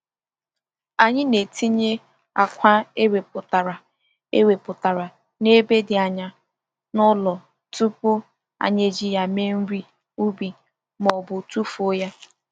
Anyị na-etinye akwa e wepụtara e wepụtara n’ebe dị anya na ụlọ tupu anyị eji ya mee nri ubi ma ọ bụ tụfuo ya.